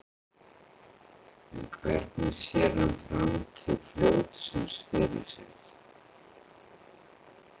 En hvernig sér hann framtíð fljótsins fyrir sér?